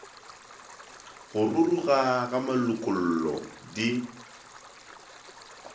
go ruruga ga malokollo di